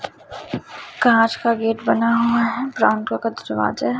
कांच का गेट बना हुआ है ब्राउन कलर का दरवाजा--